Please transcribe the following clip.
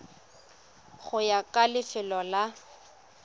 go ya ka lefelo la